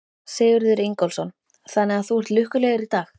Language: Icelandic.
Sigurður Ingólfsson: Þannig að þú ert lukkulegur í dag?